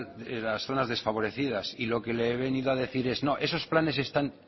en las zonas desfavorecidas y lo que le he venido a decir es no esos planes están